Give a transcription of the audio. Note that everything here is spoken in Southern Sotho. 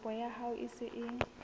kopo ya hao e se